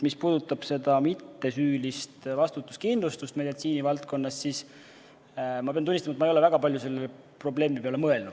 Mis puudutab mittesüülist vastutuskindlustust meditsiinivaldkonnas, siis ma pean tunnistama, et ma ei ole väga palju selle probleemi peale mõelnud.